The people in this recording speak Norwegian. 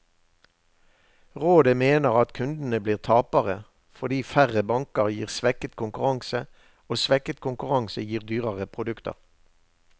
Rådet mener at kundene blir tapere, fordi færre banker gir svekket konkurranse, og svekket konkurranse gir dyrere produkter.